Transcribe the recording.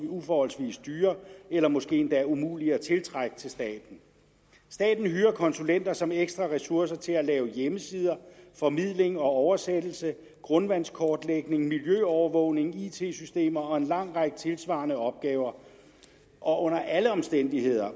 uforholdsmæssig dyre eller måske endda umulige at tiltrække til staten staten hyrer konsulenter som ekstra ressourcer til at lave hjemmesider formidling og oversættelse grundvandskortlægning miljøovervågning it systemer og en lang række tilsvarende opgaver og under alle omstændigheder